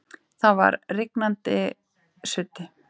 Það var rigningarsuddi.